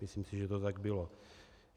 Myslím si, že to tak bylo.